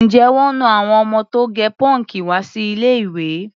Ǹjẹ́ wọ́n na àwọn ọmọ tó gẹ pọ́ǹkì wá sí ilé-ìwé?